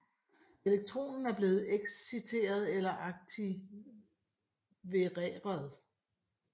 Elektronen er blevet exciteret eller aktivereret